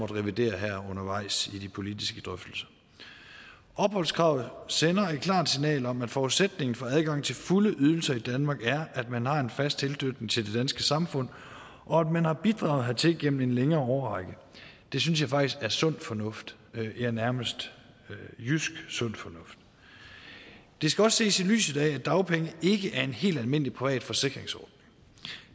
revidere undervejs i de politiske drøftelser opholdskravet sender et klart signal om at forudsætningen for adgangen til fulde ydelser i danmark er at man har en fast tilknytning til det danske samfund og at man har bidraget hertil igennem en længere årrække det synes jeg faktisk er sund fornuft ja nærmest jysk sund fornuft det skal også ses i lyset af at dagpenge ikke er en helt almindelig privat forsikringsordning